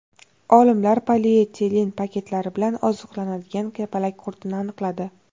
Olimlar polietilen paketlari bilan oziqlanadigan kapalak qurtini aniqladi.